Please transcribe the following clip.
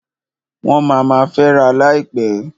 Wọ́n ma ma fęra láìpẹ́.